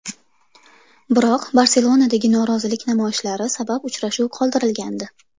Biroq Barselonadagi norozilik namoyishlari sabab uchrashuv qoldirilgandi.